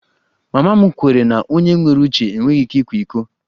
Mama m kweere na onye nwere uche enweghị ike ịkwa iko